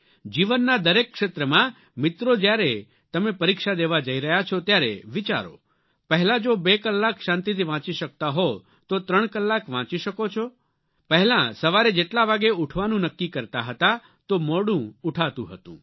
જીવનના દરેક ક્ષેત્રમાં મિત્રો જ્યારે તમે પરીક્ષા દેવા જઇ રહ્યા છો ત્યારે વિચારો પહેલા જો બે કલાક શાંતિથી વાંચી શકતા હો તો ત્રણ કલાક વાંચી શકો છો પહેલાં સવારે જેટલા વાગે ઉઠવાનું નક્કી કરતા હતા તો મોડું ઉઠાતું હતું